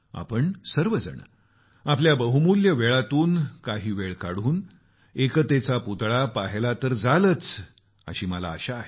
आपण सर्व आपल्या बहुमुल्य वेळातून काही वेळ काढून एकतेचा पुतळा पाहायला तर जालच अशी मला आशा आहे